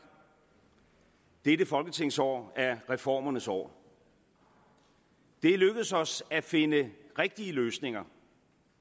dette folketingsår er reformernes år det er lykkedes os at finde rigtige løsninger